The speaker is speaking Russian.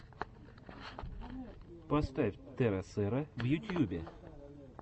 поставь теросера в ютьюбе